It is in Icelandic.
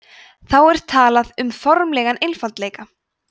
þá er talað um formlegan einfaldleika